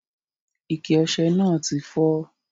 Ike ose náà ti fó